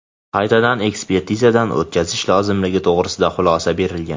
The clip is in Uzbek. qaytadan ekspertizadan o‘tkazish lozimligi to‘g‘risida xulosa berilgan.